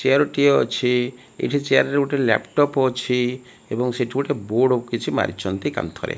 Chair ଟିଏ ଅଛି ଏଠି ଚେୟାର ରେ ଗୋଟେ ଲାପଟପ୍ ଅଛି ଏବଂ ସେଠି ଗୋଟେ ବୋର୍ଡ କିଛି ମାରିଛନ୍ତି କାନ୍ଥ ରେ।